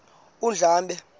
undlambe